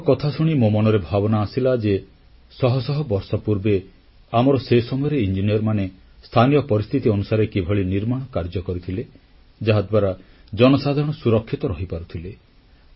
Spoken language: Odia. ତାଙ୍କ କଥାଶୁଣି ମୋ ମନରେ ଭାବନା ଆସିଲା ଯେ ଶହ ଶହ ବର୍ଷ ପୂର୍ବେ ଆମର ସେ ସମୟର ଇଞ୍ଜିନିୟରମାନେ ସ୍ଥାନୀୟ ପରିସ୍ଥିତି ଅନୁସାରେ କିଭଳି ନିର୍ମାଣ କାର୍ଯ୍ୟ କରିଥିଲେ ଯାହାଦ୍ୱାରା ଜନସାଧାରଣ ସୁରକ୍ଷିତ ରହିପାରୁଥିଲେ